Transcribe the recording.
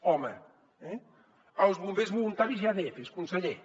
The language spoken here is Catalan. home eh els bombers voluntaris i adfs conseller